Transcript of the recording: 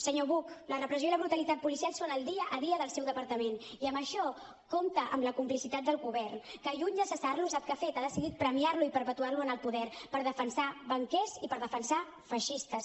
senyor buch la repressió i la brutalitat policial són el dia a dia del seu departament i en això compta amb la complicitat del govern que lluny de cessar lo sap què ha fet ha decidit premiar lo i perpetuar lo en el poder per defensar banquers i per defensar feixistes